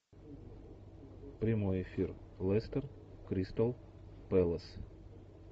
прямой эфир лестер кристал пэлас